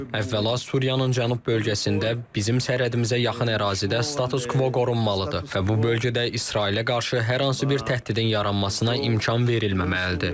Əvvəla, Suriyanın Cənub bölgəsində, bizim sərhədimizə yaxın ərazidə status-kvo qorunmalıdır və bu bölgədə İsrailə qarşı hər hansı bir təhdidin yaranmasına imkan verilməməlidir.